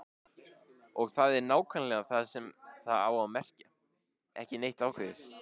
Og það er nákvæmlega það sem það á að merkja: ekki neitt ákveðið.